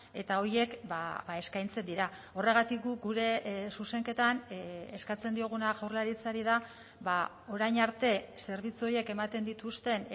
eta horiek eskaintzen dira horregatik guk gure zuzenketan eskatzen dioguna jaurlaritzari da orain arte zerbitzu horiek ematen dituzten